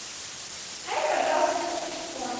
дай пожалуйста телефон